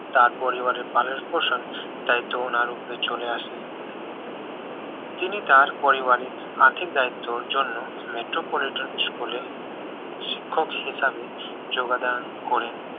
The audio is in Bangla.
তার পরিবারের পালন পোষণ দায়িত্ব ওনার ওপরে চলে আসে তিনি তার পরিবারের আর্থিক দায়িত্বের জন্য মেট্রোপলিটন স্কুল হিসেবে যোগদান করেন